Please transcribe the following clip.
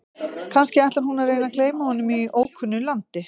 Kannski ætlar hún að reyna að gleyma honum í ókunnu landi?